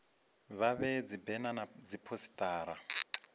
vha vhee dzibena na dziphosita